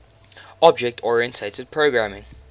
object oriented programming